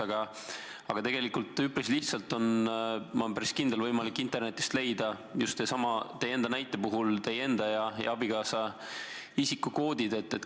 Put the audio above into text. Aga ma olen päris kindel, et tegelikult on igaühel üpris lihtsalt võimalik internetist leida näiteks teie enda ja teie abikaasa isikukoodid.